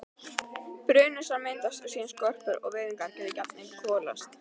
Brunasár myndast og síðan skorpur og vefirnir geta jafnvel kolast.